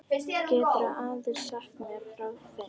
Geturðu aðeins sagt mér frá þeim?